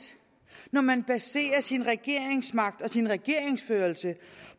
når man baserer sin regeringsmagt og sin regeringsførelse